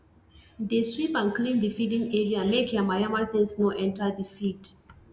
dey sweep and clean the feeding area make yamayama things no enter the feed